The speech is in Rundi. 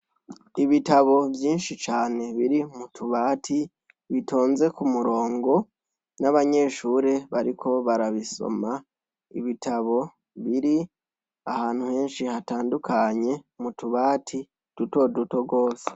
Ibitabo vyinshi cane biri mutubati bitonze ku murongo n'abanyeshure bariko barabisoma ibitabo biri ahantu henshi hatandukanye mutubati duto duto rwose.